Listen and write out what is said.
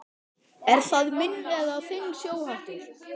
Er það minn eða þinn sjóhattur